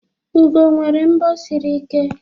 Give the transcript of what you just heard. ugo nwere mbo siri ike